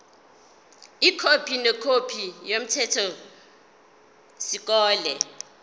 ikhophi nekhophi yomthethosisekelo